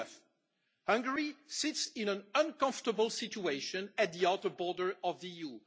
True enough, Hungary sits in an uncomfortable situation at the outer border of the